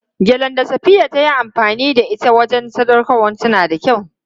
Gelen da Safiya ta yi amfani da ita don sadaukarwarta yana da kyau.